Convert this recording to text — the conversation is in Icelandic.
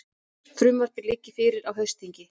Frumvarpið liggi fyrir á haustþingi